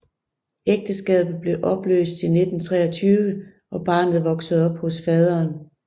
Ægteskabet blev opløst i 1923 og barnet voksede op hos faderen